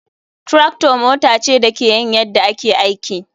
Tractor mota ce da ke yin yadda ake aiki.